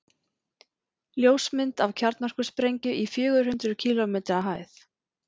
ljósmynd af kjarnorkusprengju í fjögur hundruð kílómetri hæð